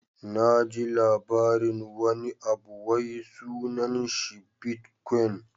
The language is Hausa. Na ji labarin wani abu wai sunan shi "bitcoin"